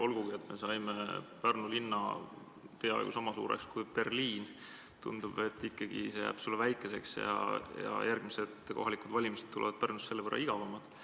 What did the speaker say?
Olgugi et me saime Pärnu linna peaaegu sama suureks kui Berliin, tundub, et see jääb sulle ikkagi väikeseks ja järgmised kohalikud valimised tulevad Pärnus selle võrra igavamad.